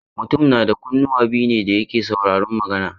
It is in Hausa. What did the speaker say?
Mutum na da kunnuwa biyu ne da yake saurarun magana.